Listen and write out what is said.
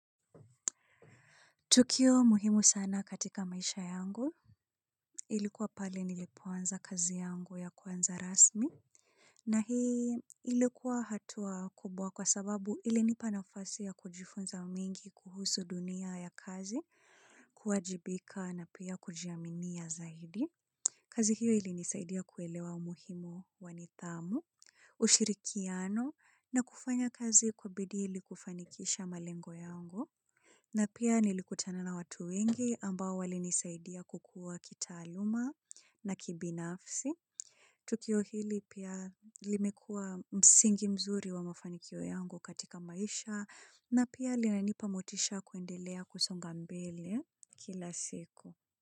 Tukio muhimu sana katika maisha yangu. Ilikuwa pale nilipoanza kazi yangu ya kwanza rasmi. Na hii ilikuwa hatua kubwa kwa sababu ilinipa nafasi ya kujifunza mengi kuhusu dunia ya kazi kuwajibika na pia kujiaminia zaidi. Kazi hiyo ilinisaidia kuelewa umuhimu wa nidhamu, ushirikiano na kufanya kazi kwa bidii ili kufanikisha malengo yangu. Na pia nilikutana na watu wengi ambao walinisaidia kukua kitaaluma na kibinafsi. Tukio hili pia limekuwa msingi mzuri wa mafanikio yangu katika maisha na pia linanipa motisha kuendelea kusonga mbele kila siku.